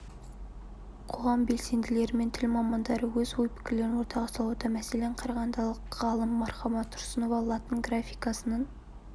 қоғам белсенділері мен тіл мамандары өз ой-пікірлерін ортаға салуда мәселен қарағандылық ғалым мархаба тұрсынова латын графикасының